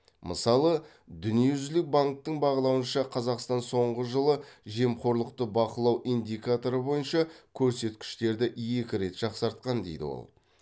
мысалы дүниежүзілік банктің бағалауынша қазақстан соңғы жылы жемқорлықты бақылау индикаторы бойынша көрсеткіштерді екі рет жақсартқан дейді ол